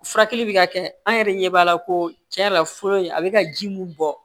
Furakɛli bi ka kɛ an yɛrɛ de ɲɛ b'a la ko tiɲɛ yɛrɛ la fɔlɔ in a be ka ji mun bɔ